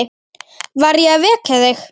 Var ég að vekja þig?